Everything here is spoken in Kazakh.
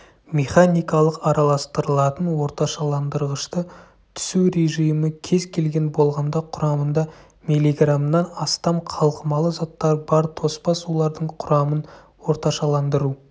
механикалық араластырылатын орташаландырғышты түсу режимі кез келген болғанда құрамында миллиграммнан астам қалқымалы заттар бар тоспа сулардың құрамын орташаландыру